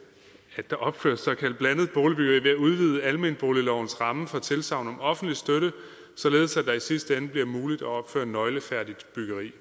at der opføres såkaldt blandet boligbyggeri ved at udvide almenboliglovens ramme for tilsagn om offentlig støtte således at det i sidste ende bliver muligt at opføre nøglefærdigt byggeri